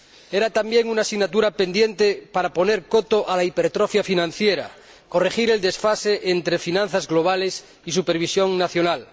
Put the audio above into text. Era también una asignatura pendiente para poner coto a la hipertrofia financiera y para corregir el desfase entre finanzas globales y supervisión nacional.